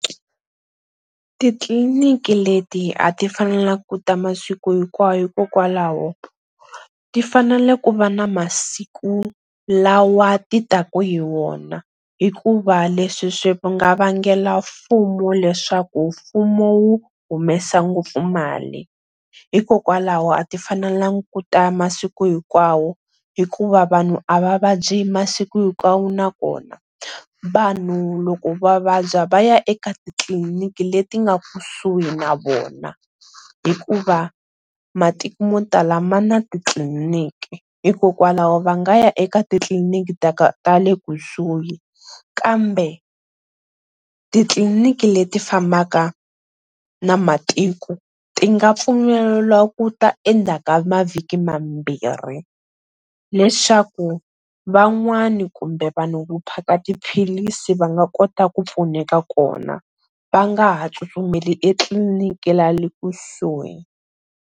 Titliliniki leti a ti fanelanga ku ta masiku hinkwawo hikokwalaho ti fanele ku va na masiku lawa ti taka hi wona hikuva leswi swi va nga vangela mfumo leswaku mfumo wu humesa ngopfu mali hikokwalaho a ti fanelanga ku ta masiku hinkwawo hikuva vanhu a va vabyi masiku hinkwawo na vona, vanhu loko va vabya va ya eka titliliniki leti nga kusuhi na vona hikuva matiko mo tala ma na titliliniki hikokwalaho va nga ya eka titliliniki ta ta le kusuhi kambe titliliniki leti fambaka na matiko ti nga pfumeleliwa ku ta endzhaka mavhiki mambirhi, leswaku van'wana kumbe vanhu vo phaka tiphilisi va nga kota ku pfuneka kona va nga ha tsutsumeli etliliniki le kusuhi.